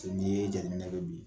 n'i ye jateminɛ kɛ bi.